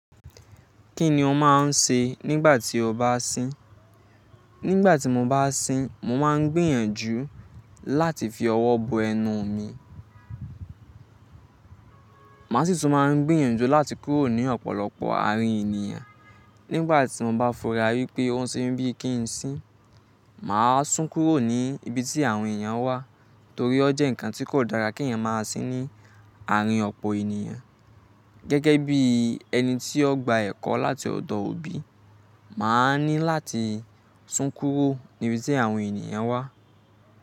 Kí ni o máa ń ṣe nígbà tí o bá sín? Nígbà tí mo bá sín, mo máa ń gbìyànjú láti fi ọwọ́ bo ẹnu mi. Máa sì tún máa ń gbìyànjú láti kúrò ní ọ̀pọ̀lọpọ̀ àárín ènìyàn. Nígbà tí mo bá fura wípé ó ń ṣe mí bíi kí n sín, mà sún kúrò ní ibi tí àwọn èèyàn wà torí ó jẹ́ nǹkan tí kò dára kí èèyàn máa sín ní àárín ọ̀pọ̀ ènìyàn. Gẹ́gẹ́ bí ẹni tí ó gba ẹ̀kọ́ láti ọ̀dọ̀ òbí, mà á ní láti sún kúrò ní ibi tí àwọn ènìyàn wà.